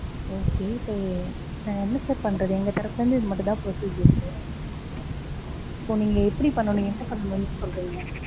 okay இப்ப, நான் என்ன sir பண்றது, எங்க தரப்புலருந்து இது மட்டும்தான் procedures ஊ so நீங்க எப்படி பண்ணனும், என்ன பண்ணனும்னு சொல்றீங்க?